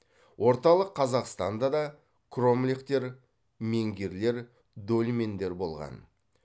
орталық қазақстанда да кромлехтер менгирлер дольмендер болған